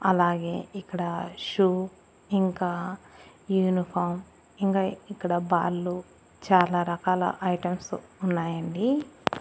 అలాగే ఇక్కడ షూ ఇంకా యూనిఫాం ఇంగా ఇక్కడ బాల్లు చాలా రకాల ఐటమ్స్ ఉన్నాయండి.